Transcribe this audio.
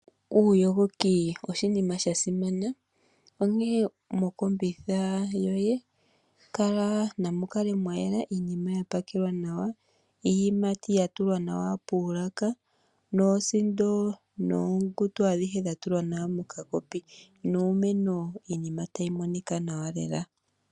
Uuyogoki oshinima sha simana, onkene mokombitha yoye namu kale mwa yela. Iinima ya pakelwa nawa, iiyimati ya tulwa nawa poolaka noosindo adhihe dha tulwa nawa mokakopi nuumeno iinima tayi monika nawa lela.